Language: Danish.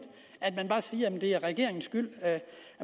at man bare siger at det er regeringens skyld at